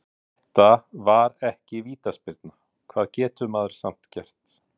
Þetta var ekki vítaspyrna, hvað getur maður samt gert?